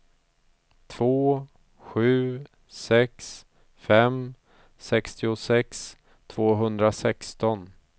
två sju sex fem sextiosex tvåhundrasexton